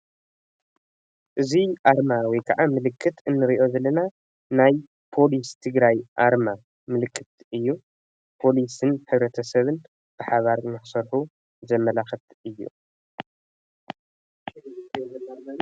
እዚ ኣርማ/ምልክት/ ንርኦ ዘለና ናይ ፖሊስ ትግራይ ምልክት እዩ ፖሊስን ህብረተሰብን ብሓባር ንክሰርሑ ዘመልክት እዩ።